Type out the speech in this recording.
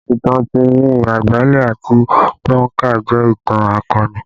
Ìtàn Timi Agbale àti Gbonka jẹ ìtàn akọni